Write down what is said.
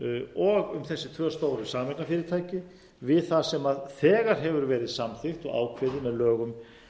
og um þessi tvö stóru sameignarfyrirtæki við það sem þegar hefur verið samþykkt og ákveðið með lögum